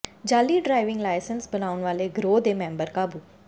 ਜਾਅਲੀ driving licence ਬਣਾਉਣ ਵਾਲੇ ਗਰੋਹ ਦੇ ਮੈਂਬਰ ਕਾਬੂ